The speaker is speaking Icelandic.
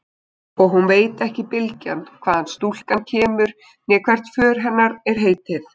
Og hún veit ekki bylgjan hvaðan stúlkan kemur né hvert för hennar er heitið.